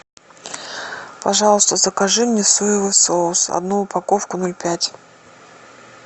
пожалуйста закажи мне соевый соус одну упаковку ноль пять